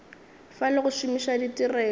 fa le go šomiša ditirelo